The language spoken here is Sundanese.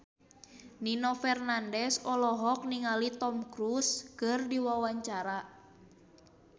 Nino Fernandez olohok ningali Tom Cruise keur diwawancara